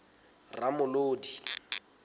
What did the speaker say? ramolodi